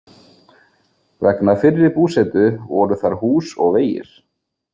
Vegna fyrri búsetu voru þar hús og vegir.